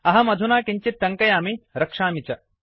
अहम् अधुना किञ्चित् टङ्कयामि रक्षामि च